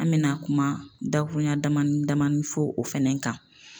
An me na kuma dakurunya damani damani fɔ o fɛnɛ kan